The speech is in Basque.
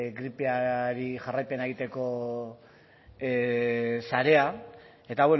gripeari jarraipena egiteko sarea eta